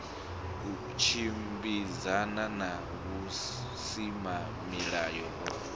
u tshimbidzana na vhusimamilayo ho